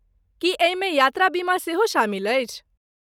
की एहिमे यात्रा बीमा सेहो शामिल अछि।